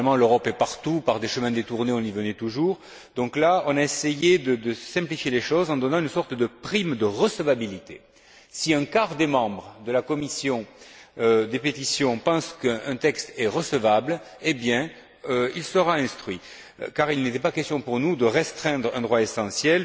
Finalement, l'Europe étant partout, par des chemins détournés, on y arrivait toujours. Nous avons donc essayé de simplifier les choses en donnant une sorte de prime de recevabilité. Si un quart des membres de la commission des pétitions pense qu'un texte est recevable, il sera instruit, car il n'est pas question pour nous de restreindre un droit essentiel,